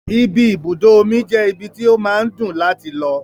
Ibi ibùdó omi je ibi tí ó máa ń dùn láti lọ.